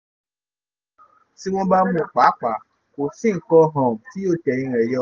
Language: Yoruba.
ó ní um tí wọ́n bá mú un pàápàá kò sí nǹkan um tí yóò tẹ̀yìn rẹ̀ yọ